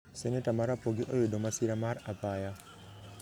seneta ma rapogi oyudo masira mar apaya